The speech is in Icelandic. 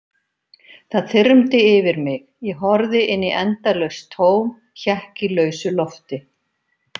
Það þyrmdi yfir mig, ég horfði inn í endalaust tóm, hékk í lausu lofti.